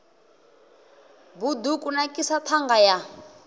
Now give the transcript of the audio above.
bud u kunakisa ṱhanga ya